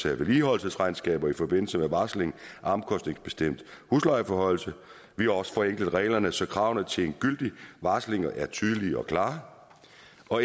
af vedligeholdelsesregnskaber i forbindelse med varsling af omkostningsbestemt huslejeforhøjelse og vi har også forenklet reglerne så kravene til en gyldig varsling er tydelige og klare